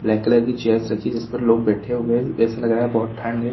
Black colour की chairs रखी जिस पर लोग बैठे हुए है ऐसा लग रहा है बहुत ठण्ड है।